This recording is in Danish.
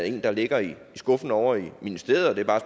en der ligger i skuffen ovre i ministeriet